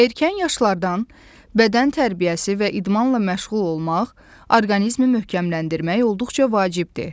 Erkən yaşlardan bədən tərbiyəsi və idmanla məşğul olmaq orqanizmi möhkəmləndirmək olduqca vacibdir.